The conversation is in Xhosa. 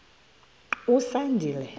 usandile